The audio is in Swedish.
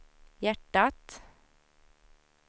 hjärtat